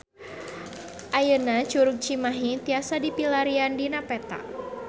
Ayeuna Curug Cimahi tiasa dipilarian dina peta